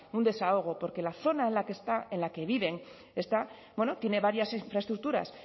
un desahogo porque la zona en la que viven está tiene varias infraestructuras